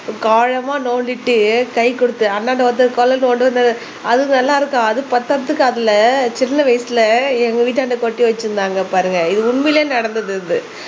ஆழமா நோண்டிட்டு கை கொடுத்து அந்தாண்ட ஒருத்தர் அது நல்லா இருக்கா அது பத்தறதுக்கு அதுல சின்ன வயசுல எங்க வீட்டாண்ட கொட்டி வச்சிருந்தாங்க பாருங்க இது உண்மையிலேயே நடந்தது